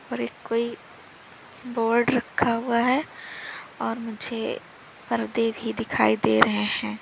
और एक कोई बोर्ड रखा हुआ है और मुझे पर्दे भी दिखाई दे रहे हैं।